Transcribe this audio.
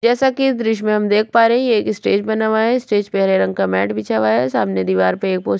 जैसा की इस दृश्य मे हम देख पा रहै हैं ये एक स्टेज बना हुआ है स्टेज पे हरे रंग का मैट बिछा हुआ है सामने दीवार पे एक पोस --